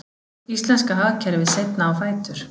Íslenska hagkerfið seinna á fætur